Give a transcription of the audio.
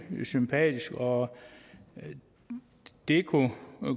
sympatisk og det kunne